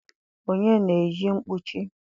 onye na-eyi mkpuchi?